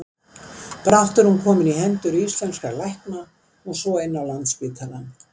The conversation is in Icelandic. Brátt var hún komin í hendur íslenskra lækna og svo inn á Landspítalann.